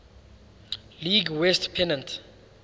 league west pennant